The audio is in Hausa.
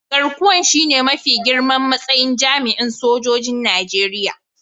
Garkuwan shine mafi girman matsayin jami'in sojoji'n Nijeriya.